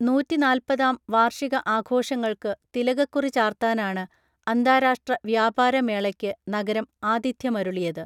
നൂറ്റിനാല്പതാം വാർഷിക ആഘോഷങ്ങൾക്ക് തിലകക്കുറി ചാർത്താനാണ് അന്താരാഷ്ട്രാ വ്യാപാര മേളയ്ക്ക് നഗരം ആഥിത്യമരുളിയത്